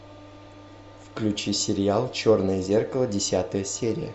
включи сериал черное зеркало десятая серия